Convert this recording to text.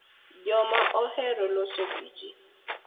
Joma ohero loso gi ji.